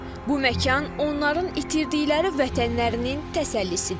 Bu məkan onların itirdikləri vətənlərinin təsəllisidir.